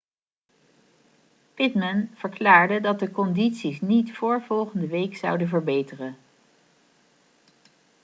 pittman verklaarde dat de condities niet voor volgende week zouden verbeteren